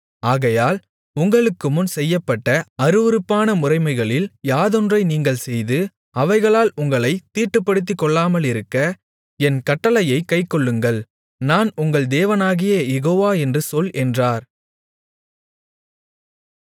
ஆகையால் உங்களுக்குமுன் செய்யப்பட்ட அருவருப்பான முறைமைகளில் யாதொன்றை நீங்கள் செய்து அவைகளால் உங்களைத் தீட்டுப்படுத்திக்கொள்ளாமலிருக்க என் கட்டளையைக் கைக்கொள்ளுங்கள் நான் உங்கள் தேவனாகிய யெகோவா என்று சொல் என்றார்